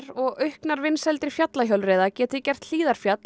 og auknar vinsældir fjallahjólreiða geti gert Hlíðarfjall